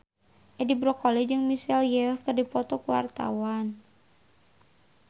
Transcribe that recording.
Edi Brokoli jeung Michelle Yeoh keur dipoto ku wartawan